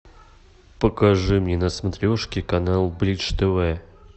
покажи мне на смотрежке канал бридж тв